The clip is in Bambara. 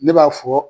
Ne b'a fɔ